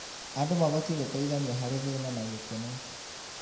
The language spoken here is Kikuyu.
Andũ mabatiĩ gũteithania harĩ thĩĩna na gĩkeno.